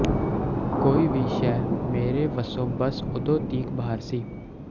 ਕੋਈ ਵੀ ਸ਼ੈ ਮੇਰੇ ਵਸੋਂ ਬੱਸ ਉਦੋਂ ਤੀਕ ਬਾਹਰ ਸੀ